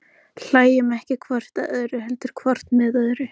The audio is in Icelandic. Hlæjum ekki hvort að öðru, heldur hvort með öðru.